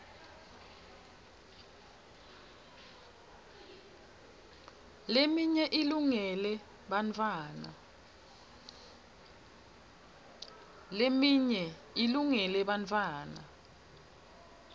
leminye ilungele bartfwana